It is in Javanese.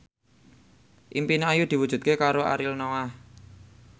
impine Ayu diwujudke karo Ariel Noah